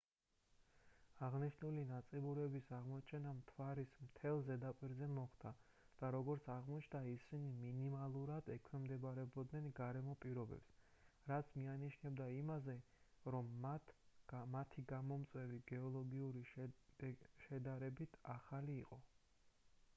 აღნიშნული ნაწიბურების აღმოჩენა მთვარის მთელს ზედაპირზე მოხდა და როგორც აღმოჩნდა ისინი მინიმალურად ექვემდებარებოდნენ გარემო პირობებს რაც მიანიშნებდა იმაზე რომ მათი გამომწვევი გეოლოგიური შედარებით ახალი იყო